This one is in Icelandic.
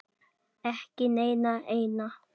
Ekki neina eina.